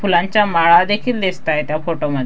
फुलांच्या माळा देखील दिसतायेत त्या फोटो म--